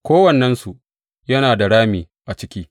Kowannensu yana da rami a ciki.